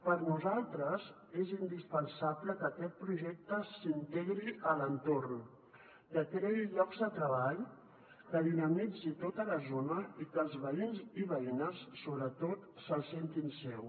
per nosaltres és indispensable que aquest pro·jecte s’integri a l’entorn que creï llocs de treball que dinamitzi tota la zona i que els veïns i veïnes sobretot se’l sentin seu